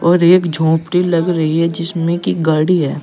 और एक झोपड़ी लग रही है जिसमें कि गाड़ी है।